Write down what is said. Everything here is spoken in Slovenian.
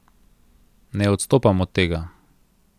Ne odstopam od tega.